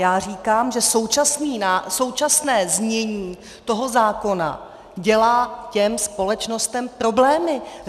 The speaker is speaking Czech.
Já říkám, že současné znění toho zákona dělá těm společnostem problémy.